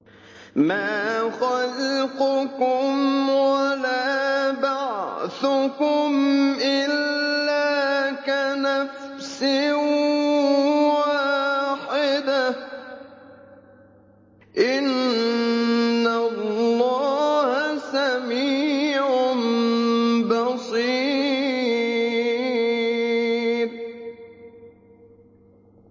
مَّا خَلْقُكُمْ وَلَا بَعْثُكُمْ إِلَّا كَنَفْسٍ وَاحِدَةٍ ۗ إِنَّ اللَّهَ سَمِيعٌ بَصِيرٌ